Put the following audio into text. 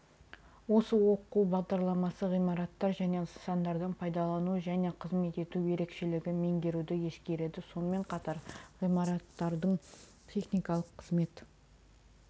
осы оқу бағдарламасы ғимараттар және нысандардың пайдалану және қызмет ету ерекшелігін меңгеруді ескереді сонымен қатар ғимараттың техникалық қызмет